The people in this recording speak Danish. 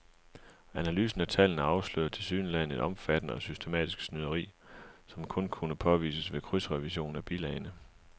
Analysen af tallene afslørede tilsyneladende et omfattende og systematisk snyderi, som kun kunne påvises ved krydsrevision af bilagene.